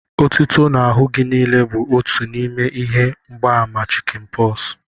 Etuto n'ahụ gị niile bụ otu n'ime ihe mgbaàmà chịkịn pọs